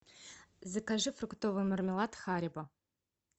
закажи фруктовый мармелад харибо